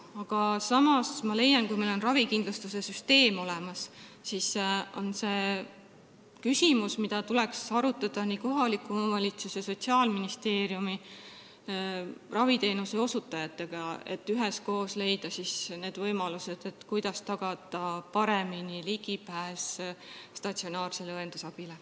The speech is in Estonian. Aga samas ma leian, et kui meil on ravikindlustussüsteem olemas, siis seda küsimust tuleks arutada kohaliku omavalitsuse, Sotsiaalministeeriumi ja raviteenuse osutajatega, et üheskoos leida need võimalused, kuidas tagada paremini ligipääs statsionaarsele õendusabile.